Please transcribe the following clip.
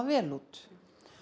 vel út